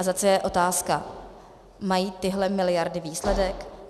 A zase je otázka - mají tyhle miliardy výsledek?